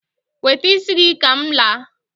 wete isi gi ka m laa